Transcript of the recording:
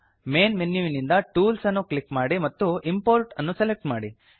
main ಮೆನ್ಯುವಿನಿಂದ tools ಅನ್ನು click ಮಾಡಿ ಮತ್ತು ಇಂಪೋರ್ಟ್ ಅನ್ನು ಸೆಲೆಕ್ಟ್ ಮಾಡಿ